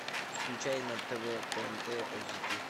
включай на тв тнт эйч ди